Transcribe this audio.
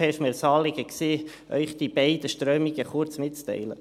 Es war mir ein Anliegen, Ihnen diese beiden Strömungen kurz mitzuteilen.